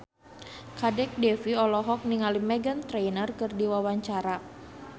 Kadek Devi olohok ningali Meghan Trainor keur diwawancara